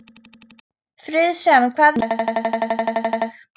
Friðsemd, hvað er í dagatalinu mínu í dag?